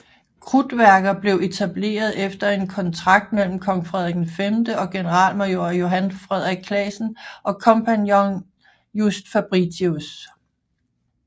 Krudtværket blev etableret efter en kontrakt mellem kong Frederik V og generalmajor Johan Frederik Classen og kompagnonen Just Fabritius